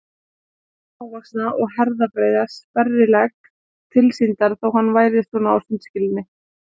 Þekkti þennan smávaxna og herðabreiða sperrilegg tilsýndar þó að hann væri svona á sundskýlunni.